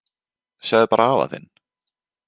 Sjáðu bara afa þinn.